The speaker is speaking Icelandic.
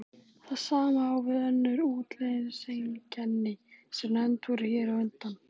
Það sama á við um önnur útlitseinkenni sem nefnd voru hér á undan.